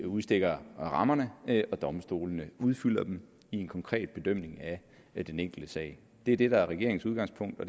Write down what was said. udstikker rammerne og domstolene udfylder dem i den konkrete bedømmelse af den enkelte sag det er det der er regeringens udgangspunkt og